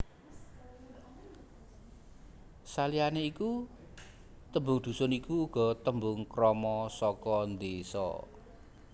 Saliyané iku tembung dhusun iku uga tembung krama saka désa